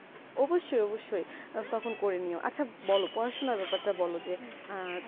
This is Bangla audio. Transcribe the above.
অবসয়ে অবসয়ে তখন করে নিয়ে আচ্ছা বোলো পড়াশোনা অতটা বোলো যে তুমি